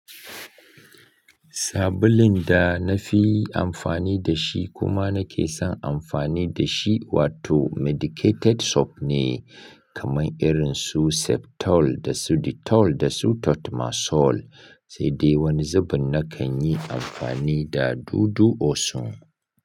Sabulun da na fi amfani da shi kuma na ke son amfani da shi wato Medicated soap ne kamar irin su Septol da su Dettol da su Tatmasol, sai dai wani zubin na kan yi amfani da dudu osun.